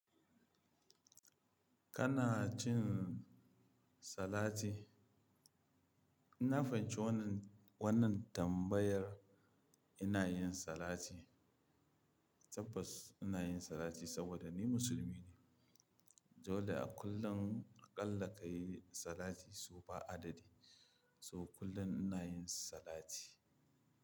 Kana cin salati? Na fahimci wannan, wannan tambayar ina yin salati. Tabbas ina yin salati saboda ni musulmi ne. Dole a kullum aƙalla ka yi salati sau ba adadi. So kullum ina yin salati.